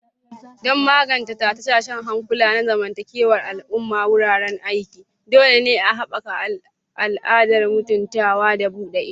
Don magance tashe-tashen hankula na zamantakewar al'umma a wuraren aiki, dole ne a haɓaka al'adar mutuntawa da buɗe ido.